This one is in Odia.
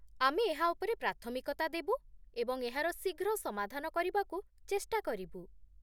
ଆମେ ଏହା ଉପରେ ପ୍ରାଥମିକତା ଦେବୁ ଏବଂ ଏହାର ଶୀଘ୍ର ସମାଧାନ କରିବାକୁ ଚେଷ୍ଟା କରିବୁ